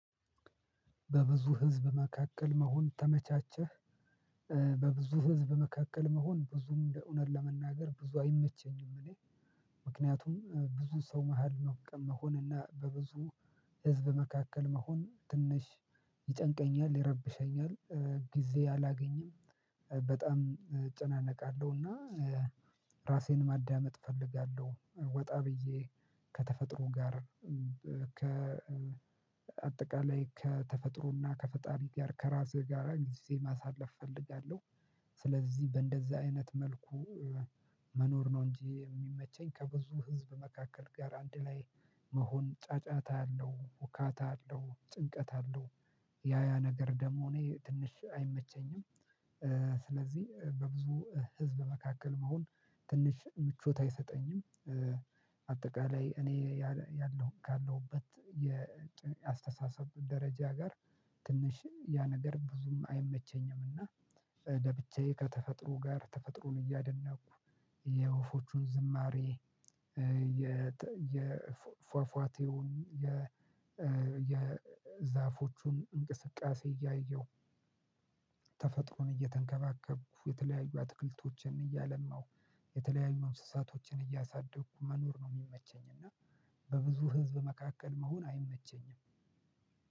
በብዙ ህዝብ መካከል መሆን ተመቻቸህ? በብዙ ህዝብ መካከል መሆን ብዙም እንደ እውነት ለመናገር ብዙ አይመቸኝም እኔ። ምክንያቱም ብዙ ሰው መሃል መሆን እና በብዙ ህዝብ መካከል መሆን ትንሽ ይጨንቀኛል፤ ይረብሸኛል። ጊዜ አላገኝም። በጣም እጨናነቃለሁ። እና ራሴን ማዳመጥ እፈልጋለሁ። ወጣ ብዬ ከተፈጥሮ ጋር አጠቃላይ ከተፈጥሮና ከፈጣሪ ጋር ከራሴ ጋራ ጊዜ ማሳለፍ እፈለጋለሁ። ስለዚህ በእንደዛ አይነት መልኩ መኖር ነው እንጂ የሚመቸኝ ከብዙ ህዝብ መካከል ጋር አንድ ላይ መሆን ጫጫታ አለው፤ ሁካታ አለው፤ ጭንቀት አለው፤ ያ ያ ነገር ደም እኔ ትንሽ አይመቸኝም። ስለዚህ በብዙ ህዝብ መካከል መሆን ትንሽ ምቾት አይሰጠኝም። በአጠቃላይ እኔ ካለሁበት የአስተሳሰብ ደረጃ ጋር ትንሽ ያ ነገር ብዙም አይመቸኝም። እና ገብቼ ከተፈጥሮ ጋር ተፈጥሮን እያደነኩ፤ የወፎቹን ዝማሬ፤ የፏፏቴውን፤ የዛፎቹን እንቅስቃሴ እያየሁ ተፈጥሮን እየተንከባከብኩ፤ የተለያዩ አትክልቶችን እያለማሁ፤ የተለያዩ እንስሳቶችን እያሳደግኩ መኖር ነው የሚመቸኝ። እና በብዙ ህዝብ መካከል መሆን አይመቸኝም።